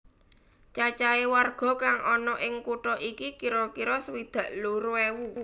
Cacahe warga kang ana ing kutha iki kira kira swidak loro ewu